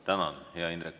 Tänan hea, Indrek!